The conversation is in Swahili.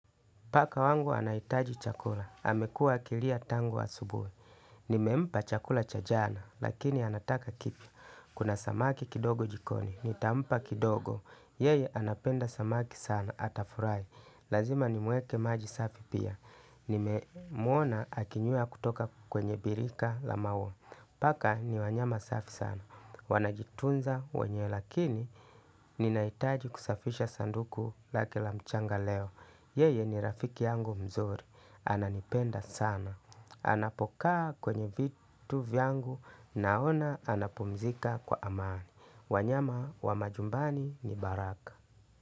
Paka wangu anahitaji chakula. Amekua akilia tangu wa asubuhi. Nimempa chakula cha jana, lakini anataka kipya. Kuna samaki kidogo jikoni. Nitampa kidogo, yeye anapenda samaki sana. Atafurahi. Lazima ni muekee maji safi pia. Nimemuona akinywea kutoka kwenye birika la maua. Paka ni wanyama safi sana. Wanajitunza wenyewe lakini. Ninahitaji kusafisha sanduku lake la mchanga leo. Yeye ni rafiki yangu mzuri, ananipenda sana. Anapokaa kwenye vitu vyangu naona anapumzika kwa amani. Wanyama wa majumbani ni baraka.